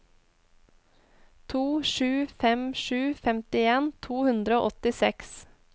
to sju fem sju femtien to hundre og åttiseks